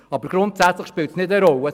Grundsätzlich spielt das keine Rolle.